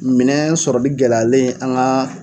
Minɛn sɔrɔli gɛlɛyalen an ŋa